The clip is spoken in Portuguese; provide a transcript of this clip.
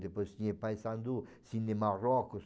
Depois tinha Paesandu, Cine Marrocos.